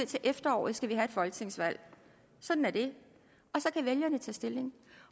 til efteråret skal have et folketingsvalg sådan er det og så kan vælgerne tage stilling